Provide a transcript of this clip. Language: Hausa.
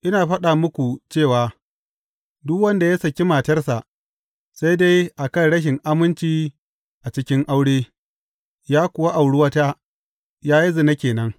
Ina faɗa muku cewa duk wanda ya saki matarsa, sai dai a kan rashin aminci a cikin aure, ya kuwa auri wata, ya yi zina ke nan.